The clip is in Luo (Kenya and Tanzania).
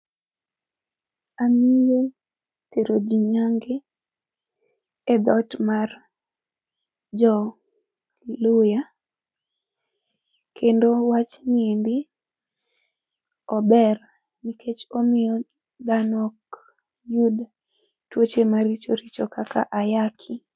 Ang'eyo tero jii nyange, e dhot mar jo Luhya. Kendo wachni endi, ober nikech omiyo dhano ok yud tuoche maricho richo kaka ayaki